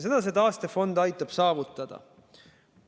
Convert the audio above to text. Seda see taastefond aitab saavutada.